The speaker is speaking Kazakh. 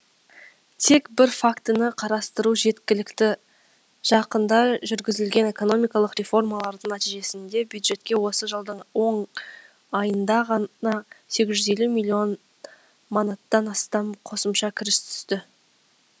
тек бір фактіні қарастыру жеткілікті жақында жүргізілген экономикалық реформалардың нәтижесінде бюджетке осы жылдың он айында ғана сегіз жүз елу миллион манаттан астам қосымша кіріс түсті